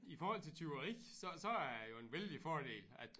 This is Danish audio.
I forhold til tyveri så så er det jo en vældig fordel at